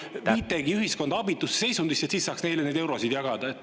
… et te nagu viitegi ühiskonda abitusse seisundisse, et siis saaks neile neid eurosid jagada.